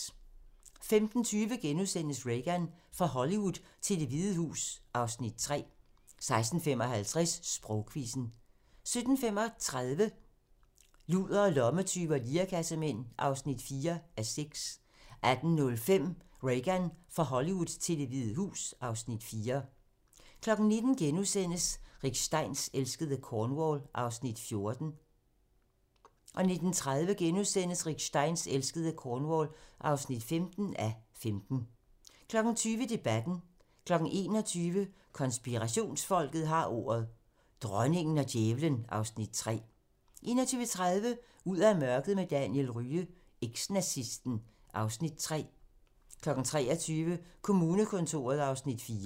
15:20: Reagan - fra Hollywood til Det Hvide Hus (Afs. 3)* 16:55: Sprogquizzen 17:35: Ludere, lommetyve og lirekassemænd (4:6) 18:05: Reagan - fra Hollywood til Det Hvide Hus (Afs. 4) 19:00: Rick Steins elskede Cornwall (14:15)* 19:30: Rick Steins elskede Cornwall (15:15)* 20:00: Debatten 21:00: Konspirationsfolket har ordet - Dronningen og djævlen (Afs. 3) 21:30: Ud af mørket med Daniel Rye - Eks-nazisten (Afs. 3) 23:00: Kommunekontoret (Afs. 4)